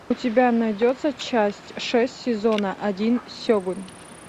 у тебя найдется часть шесть сезона один сегун